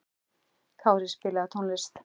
Kári, spilaðu tónlist.